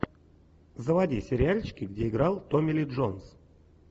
заводи сериальчики где играл томми ли джонс